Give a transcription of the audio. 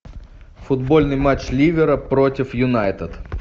футбольный матч ливера против юнайтед